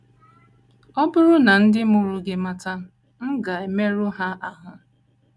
Ọ bụrụ na ndị mụrụ gị mata, m ga - emerụ ha ahụ́.